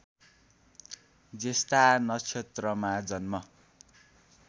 ज्येष्ठा नक्षत्रमा जन्म